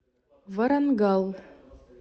варангал